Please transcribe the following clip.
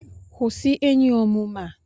Kwụsị enyi omume a!